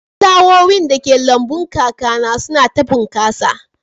Flawowin dake lambun kakana suna ta bunƙasa